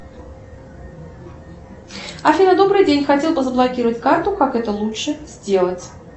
афина добрый день хотела бы заблокировать карту как это лучше сделать